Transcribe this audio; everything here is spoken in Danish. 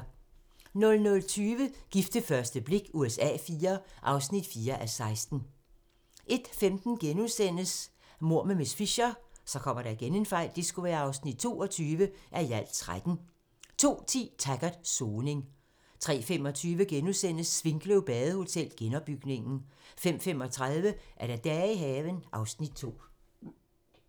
00:20: Gift ved første blik USA IV (4:16) 01:15: Mord med miss Fisher (22:13)* 02:10: Taggart: Soning 03:25: Svinkløv Badehotel - genopbygningen * 05:35: Dage i haven (Afs. 2)